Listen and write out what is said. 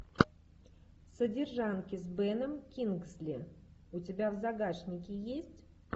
содержанки с беном кингсли у тебя в загашнике есть